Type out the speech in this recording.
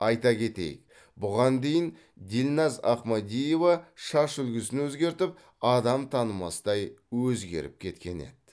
айта кетейік бұған дейін дильназ ахмадиева шаш үлгісін өзгертіп адам танымастай өзгеріп кеткен еді